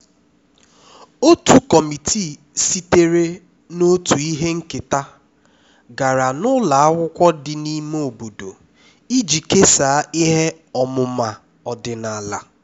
otu kọmitii sitere na otu ihe nketa gara ụlọ n'akwụkwọ dị n'ime obodo iji kesaa ihe ọmụma ọdịnala